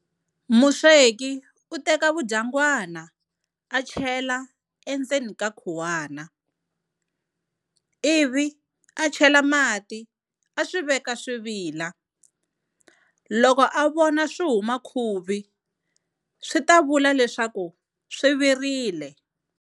Musweki u teka vudyangwana a chela endzeni ka khuwana, ivi a chela mati a swi veka swi vila. Loko a vona swi huma khuvi swi ta vula leswaku swi virile.